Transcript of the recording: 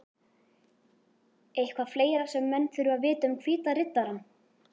Eitthvað fleira sem menn þurfa að vita um Hvíta Riddarann?